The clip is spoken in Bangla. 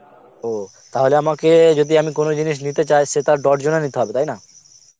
ও, তাহলে আমাকে যদি আমি কোনো জিনিস নিতে চাই সেটা আমাকে ডরজনে নিতে হবে তাই না?